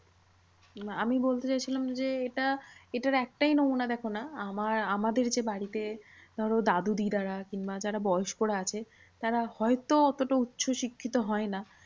আমি বলতে চাইছিলাম যে, এটা এটার একটাই নমুনা দেখো না। আমার আমাদের যে বাড়িতে ধরো দাদু দিদা রা কিংবা যারা বয়স্করা আছে তারা হয়তো অতটা উচ্চশিক্ষিত হয় না